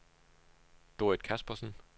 Dorrit Kaspersen